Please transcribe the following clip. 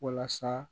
Walasa